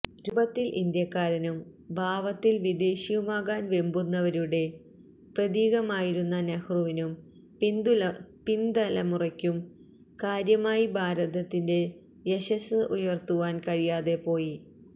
രൂപത്തില് ഇന്ത്യക്കാരനും ഭാവത്തില് വിദേശിയുമാകാന് വെമ്പുന്നവരുടെ പ്രതീകമായിരുന്ന നെഹ്റുവിനും പിന്തലമുറയ്ക്കും കാര്യമായി ഭാരതത്തിന്റെ യശസ്സ് ഉയര്ത്തുവാന് കഴിയാതെ പോയി